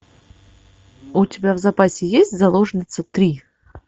у тебя в запасе есть заложница три